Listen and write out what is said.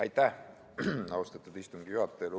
Aitäh, austatud istungi juhataja!